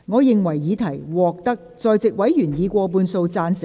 我認為議題獲得在席委員以過半數贊成。